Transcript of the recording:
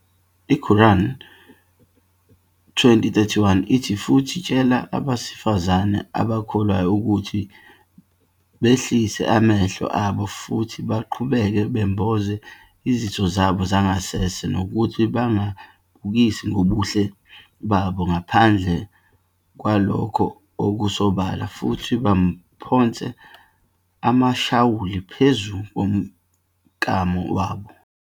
I-Qur'an 20-31 ithi "Futhi tshela abesifazane abakholwayo ukuthi behlise amehlo abo futhi baqhubeke bemboze izitho zabo zangasese, nokuthi bangabukisi ngobuhle babo ngaphandle kwalokhu okusobala, futhi mabaphonse amashawuli phezu komklamo wabo.